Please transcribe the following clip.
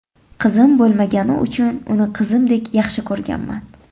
Qizim bo‘lmagani uchun uni qizimdek yaxshi ko‘rganman.